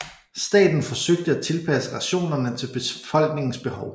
Staten forsøgte at tilpasse rationerne til befolkningens behov